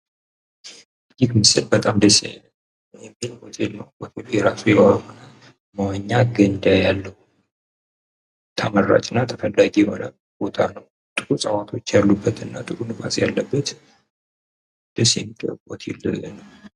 ይህ ምስል በጣም ደስ የሚል ሆቴል ነው። ሆቴሉ የራሱ የሆነ መዋኛ ገንዳ ያለው ነው። ተመራጭ ነው። እና ጥሩ እጽዋቶች ያሉበት ቦታ ነው። ደስ የሚል ጥሩ ሆቴል ነው።